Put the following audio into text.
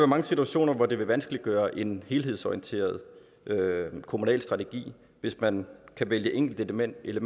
mange situationer hvor det vil vanskeliggøre en helhedsorienteret kommunal strategi hvis man kan vælge enkeltelementer